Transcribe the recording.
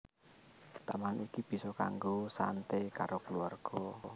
Taman iki bisa kanggo santé karo kluwarga